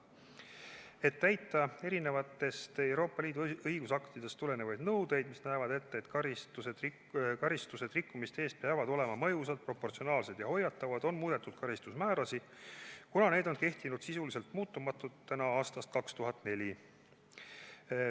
Et täita Euroopa Liidu eri õigusaktidest tulenevaid nõudeid, mis näevad ette, et karistused rikkumiste eest peavad olema mõjusad, proportsionaalsed ja hoiatavad, on muudetud karistusmäärasid, kuna need on kehtinud sisuliselt muutumatuna aastast 2004.